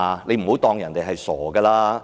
不要當人家是傻子。